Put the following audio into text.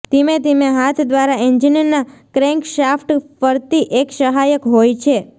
ધીમે ધીમે હાથ દ્વારા એન્જિનના ક્રેન્કશાફ્ટ ફરતી એક સહાયક હોય છે